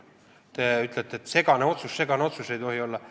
Teie ütlete, et segane otsus, et segast otsust ei tohi olla.